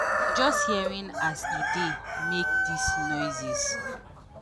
just hearing as e dey make dis noises.